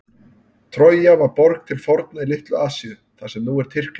Trója var borg til forna í Litlu-Asíu, þar sem nú er Tyrkland.